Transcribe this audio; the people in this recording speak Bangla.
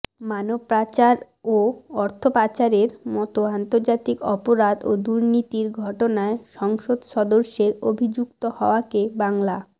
মানবপাচার ও অর্থপাচারের মত আন্তর্জাতিক অপরাধ ও দুর্নীতির ঘটনায় সংসদ সদস্যের অভিযুক্ত হওয়াকে বাংলা